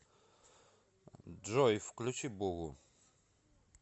джой включи бугу